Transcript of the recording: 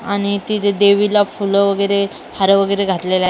आणि तिने देवीला फुल वगैरे हार वगैरे घातलेला आहे.